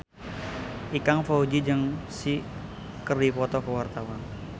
Ikang Fawzi jeung Psy keur dipoto ku wartawan